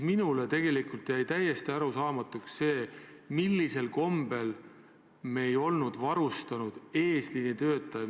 Minule on tegelikult täiesti arusaamatuks jäänud, kuidas me ikka ei olnud varustanud kaitsevahenditega eesliini töötajaid.